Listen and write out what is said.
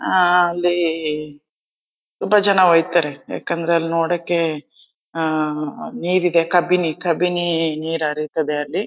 ಅಲ್ಲಿ ತುಂಬಾ ಜನ ಹೊಯ್ತಾರೆ ಯಾಕಂದ್ರೆ ಅಲ್ ನೋಡೋಕೆ ನೀರು ಇದೆ ಕಬ್ಬಿನಿ ಕಬ್ಬಿನಿ ನೀರು ಹರಿತದೆ ಅಲ್ಲಿ--